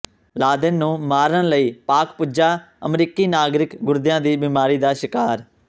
Laden ਨੂੰ ਮਾਰਨ ਲਈ ਪਾਕਿ ਪੁੱਜਾ ਅਮਰੀਕੀ ਨਾਗਰਿਕ ਗੁਰਦਿਆਂ ਦੀ ਬਿਮਾਰੀ ਦਾ ਸ਼ਿਕਾਰ